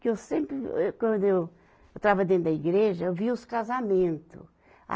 Que eu sempre, eu, quando eu estava dentro da igreja, eu via os casamentos. a